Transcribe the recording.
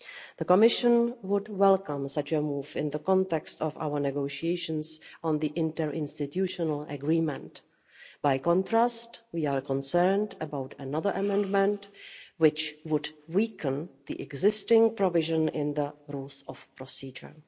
The Commission would welcome such a move in the context of our negotiations on the interinstitutional agreement. By contrast, we are concerned about another amendment which would weaken the existing provision in the Rules of Procedure.